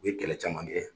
U ye kɛlɛ caman kɛ